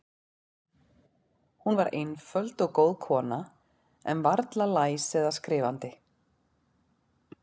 Hún var einföld og góð kona, en varla læs eða skrifandi.